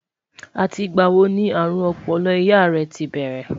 àti ìgba wò ní arun Opolo ìyá yeti tí bẹrẹ?